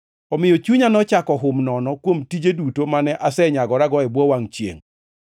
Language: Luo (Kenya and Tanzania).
Omiyo chunya nochako hum nono kuom tije duto mane asenyagorago e bwo wangʼ chiengʼ.